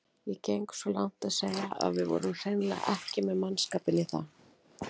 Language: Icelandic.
Ég geng svo langt að segja að við vorum hreinlega ekki með mannskapinn í það.